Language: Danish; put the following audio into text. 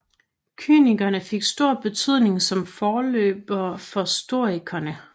Kynikerne fik stor betydning som forløbere for stoikerne